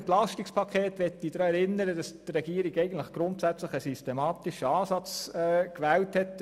das EP möchte ich daran erinnern, dass die Regierung grundsätzlich einen systematischen Ansatz gewählt hat.